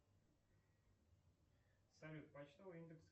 салют почтовый индекс